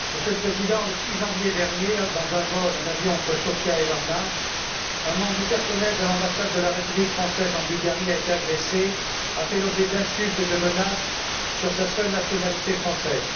Monsieur le Président, le 6 janvier dernier, dans un avion entre Sofia et Varna, un membre du personnel de l'ambassade de la République française en Bulgarie a été agressé et a fait l'objet d'insultes et de menaces du fait de sa seule nationalité française.